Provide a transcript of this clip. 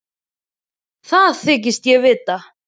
Það þykist ég vita.